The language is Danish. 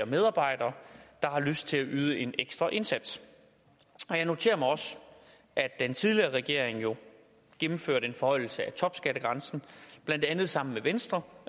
medarbejdere der har lyst til at yde en ekstra indsats jeg noterer mig også at den tidligere regering jo gennemførte en forhøjelse af topskattegrænsen blandt andet sammen med venstre